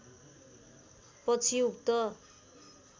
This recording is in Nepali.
पछि उक्त